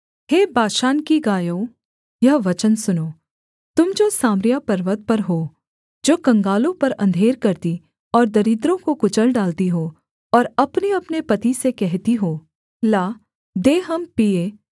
हे Bashan की गायों यह वचन सुनो तुम जो सामरिया पर्वत पर हो जो कंगालों पर अंधेर करती और दरिद्रों को कुचल डालती हो और अपनेअपने पति से कहती हो ला दे हम पीएँ